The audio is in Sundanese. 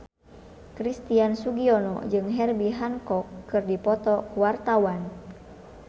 Christian Sugiono jeung Herbie Hancock keur dipoto ku wartawan